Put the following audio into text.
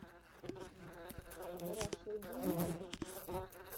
раша биенд